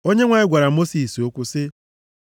Onyenwe anyị gwara Mosis okwu sị,